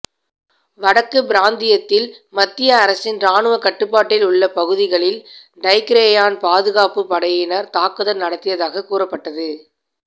வடக்கு பிராந்தியத்தில் மத்திய அரசின் இராணுவ கட்டுப்பாட்டில் உள்ள பகுதிகளில் டைக்ரேயன் பாதுகாப்புப் படையினர் தாக்குதல் நடத்தியதாகக் கூறப்பட்டது